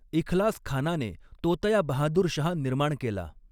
इख्लासखानाने तोतया बहादूरशहा निर्माण केला.